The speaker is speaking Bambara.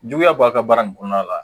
Juguya b'a ka baara in kɔnɔna la